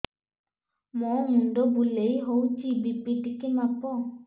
ମୋ ମୁଣ୍ଡ ବୁଲେଇ ହଉଚି ବି.ପି ଟିକେ ମାପ